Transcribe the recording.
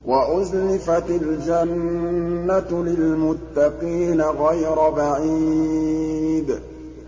وَأُزْلِفَتِ الْجَنَّةُ لِلْمُتَّقِينَ غَيْرَ بَعِيدٍ